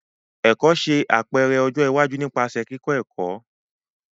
Ẹkọ ṣe apẹrẹ ọjọ iwaju nipasẹ kikọ ẹkọ.